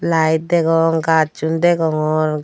lite degong gazsun degongor ga.